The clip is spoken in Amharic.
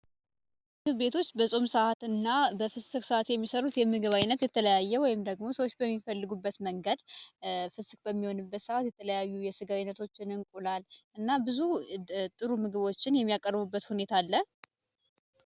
ምግብ ቤቶች በጾም ሰአት እና በፍስክ ሰአት የሚሰሩት የምግብ ዓይነት የተለያየ ወይም ደግሞ ሰዎች በሚፈልጉበት መንገድ ፍስክ በሚሆንበት ሰአት የተለያዩ የስጋ አይነቶችን እና እንቁላል ብዙ ጥሩ ምግቦችን የሚያቀርቡበት ሁኔታ አለ።